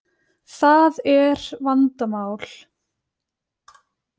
Það er vandamál.